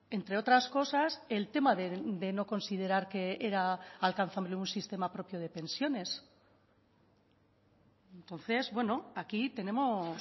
entre otras cosas el tema de no considerar que era alcanzable un sistema propio de pensiones entonces bueno aquí tenemos